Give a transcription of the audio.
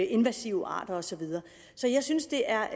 invasive arter og så videre så jeg synes det er